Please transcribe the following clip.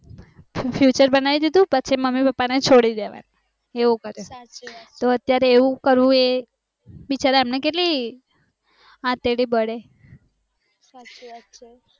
future બનાવી દીધું પછી મમ્મી પપ્પા ને છોડી દેવાના એવું કરે તો અત્યરે આવું કરવું એ બીચાર એમનું કેટલું અત્રડા બળે